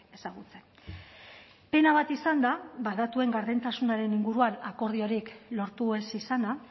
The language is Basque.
ezagutzen pena bat izan da datuen gardentasunaren inguruan akordiorik lortu ez izana